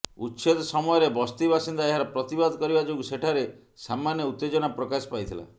ଉଚ୍ଛେଦ ସମୟରେ ବସ୍ତି ବାସିନ୍ଦା ଏହାର ପ୍ରତିବାଦ କରିବା ଯୋଗୁଁ ସେଠାରେ ସାମାନ୍ୟ ଉତ୍ତେଜନା ପ୍ରକାଶ ପାଇଥିଲା